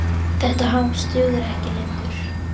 Þetta hangs dugir ekki lengur.